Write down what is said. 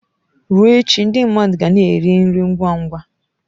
Ruo echi ndị mmadụ ga na-eri nri ngwa ngwa.